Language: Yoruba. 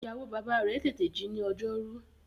Ìyàwó-bàbá rẹ̀ tètè ji ní ọjọ́rú.